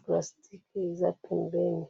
plastique eza pembeni